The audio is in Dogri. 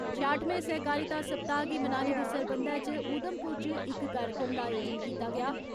छेआठमें सैह्कारिता सप्ताह गी मनाने दे सरबंधै इच उधमपुर इच इक कार्यक्रम दा आयोजन कीता गेआ।